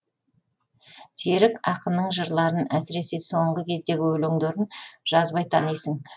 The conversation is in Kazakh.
серік ақынның жырларын әсіресе соңғы кездегі өлеңдерін жазбай танисың